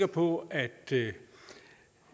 på at